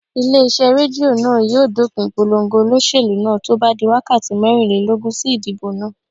Ilé iṣẹ́ Rédíò náà yóò dópin ìpolongo olóṣèlú náà tó bá di wákàtí mẹ́rìnlélógún sí idibo náà.